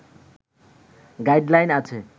guide line আছে